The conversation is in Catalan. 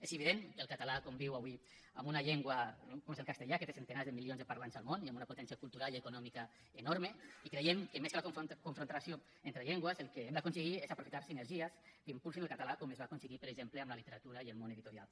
és evident que el català conviu avui amb una llengua com és el castellà que té centenars de milions de parlants al món i amb una potència cultural i econòmica enorme i creiem que més que la confrontació entre llengües el que hem d’aconseguir és aprofitar sinergies que impulsin el català com es va aconseguir per exemple amb la literatura i el món editorial